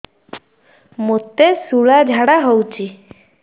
ମୋତେ ଶୂଳା ଝାଡ଼ା ହଉଚି